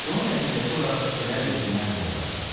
Bunun nəticəsi olaraq küçələr yetimlərlə dolacaq.